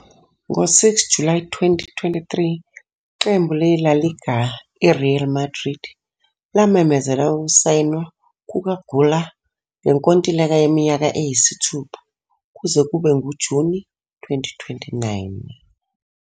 Ngo-6 July 2023, iqembu le-La Liga i-Real Madrid lamemezela ukusayinwa kukaGüler ngenkontileka yeminyaka eyisithupha kuze kube nguJuni 2029.